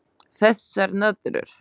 Þessar nöðrur!